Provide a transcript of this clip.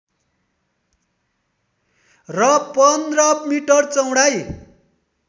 र १५ मिटर चौडाइ